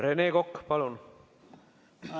Rene Kokk, palun!